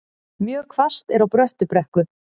Mjög hvasst er á Bröttubrekku